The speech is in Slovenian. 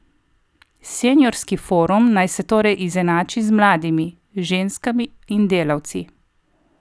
Seniorski forum naj se torej izenači z mladimi, ženskami in delavci.